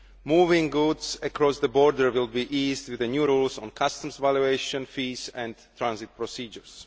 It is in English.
Moving goods across the border will be eased with the new rules on customs valuation, fees and transit procedures.